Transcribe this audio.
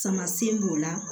Samasɛn b'o la